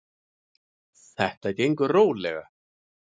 Þetta gengur rólega.